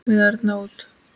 við ærna sút.